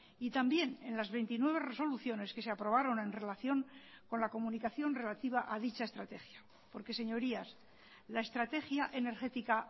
y también en las veintinueve resoluciones que se aprobaron en relación con la comunicación relativa a dicha estrategia porque señorías la estrategia energética